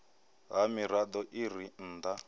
ha mirado i re nnda